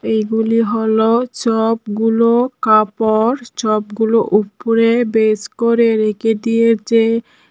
এগুলি হল চপগুলো কাপড় চপগুলো উপরে বেশ করে রেখে দিয়েছে।